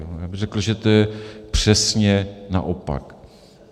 Já bych řekl, že to je přesně naopak.